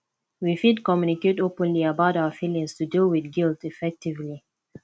we fit communicate openly about our feelings to deal with guilt effectively